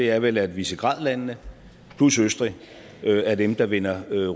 er vel at visegrád landene plus østrig er dem der vender